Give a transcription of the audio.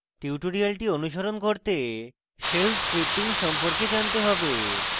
tutorial অনুসরণ করতে shell scripting সম্পর্কে জানতে have